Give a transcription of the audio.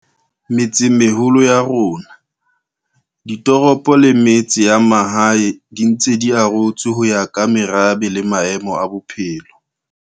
Metsemeholo ya rona, ditoropo le metse ya mahae di ntse di arotswe ho ya ka merabe le maemo a batho.